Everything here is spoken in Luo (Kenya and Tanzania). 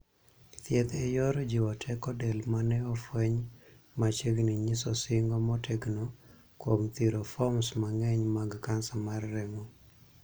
Thieth e yor jiwo teko del mane ofweny machiegni nyiso singo motegno kuom thiro foms mangeny mag kansa mar remo.